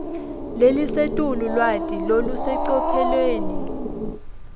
lelisetulu lwati lolusecophelweni